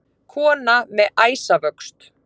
Kona með æsavöxt.